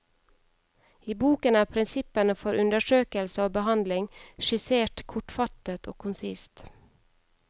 I boken er prinsippene for undersøkelse og behandling skissert kortfattet og konsist.